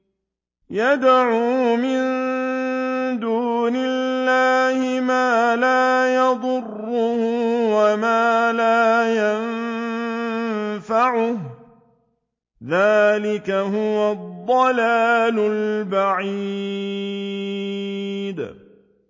يَدْعُو مِن دُونِ اللَّهِ مَا لَا يَضُرُّهُ وَمَا لَا يَنفَعُهُ ۚ ذَٰلِكَ هُوَ الضَّلَالُ الْبَعِيدُ